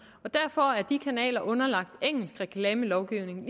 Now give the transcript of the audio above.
derfor er de kanaler underlagt engelsk reklamelovgivning